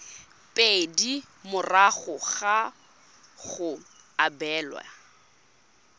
pedi morago ga go abelwa